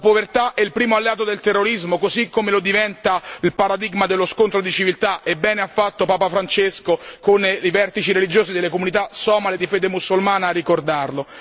La povertà è il primo alleato del terrorismo, così come lo diventa il paradigma dello scontro di civiltà e bene ha fatto Papa Francesco, con i vertici religiosi delle comunità somale di fede musulmana, a ricordarlo.